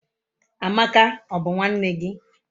Amaka, o bu nwanne gi?